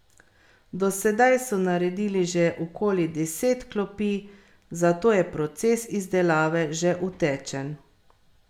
Do sedaj so naredili že okoli deset klopi, zato je proces izdelave že utečen.